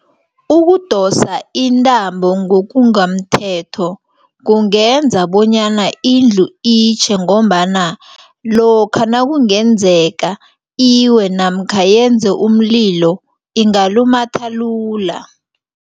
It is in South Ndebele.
Ukudosa intambo ngokungamthetho kungenza bonyana indlu itjhe ngombana lokha nakungenzeka iwe namkha yenze umlilo ingalumatha lula.